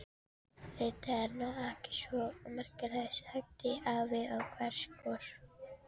Þetta er nú ekki svo merkilegt! sagði afi hæverskur.